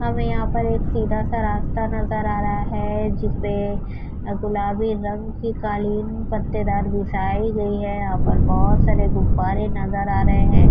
اور یہاں پر ایک سیدھا سا راستہ نظر آ رہا ہے۔ جسپے گلابی رنگ کی کالیں پتدار بچیی گیی ہے. یہا پر بھوت سارے گببرے نظر آ رہے ہے۔